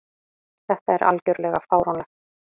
Þetta er algjörlega fáránlegt.